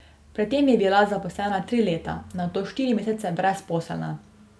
Pred tem je bila zaposlena tri leta, nato štiri mesece brezposelna.